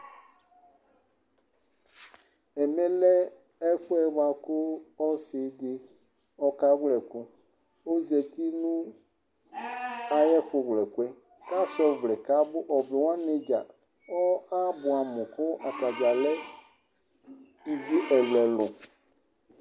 ɛmɛ lɛ ɛƒʋɛ bʋakʋ ɔsiidi ɔka wlɛ ɛkʋ kʋ ɔzati nʋ ayi ɛƒʋ wlɛ ɛkʋ kʋasʋa ɔvlɛ kʋ abʋ, ɔvlɛ wani dza abʋamʋ kʋ ɔtagya lɛ ivi ɛlʋɛlʋ